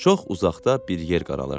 Çox uzaqda bir yer qaralırdı.